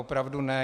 Opravdu ne.